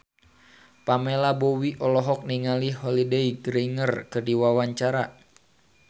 Pamela Bowie olohok ningali Holliday Grainger keur diwawancara